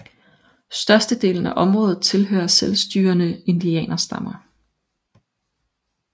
Størstedelen af området tilhører selvstyrende indianerstammer